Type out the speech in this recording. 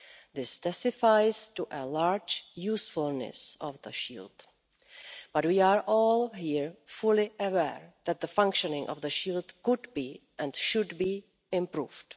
This testifies to a large usefulness of the Shield, but we are all here fully aware that the functioning of the Shield could be, and should be, improved.